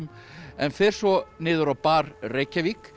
en fer svo niður á bar Reykjavík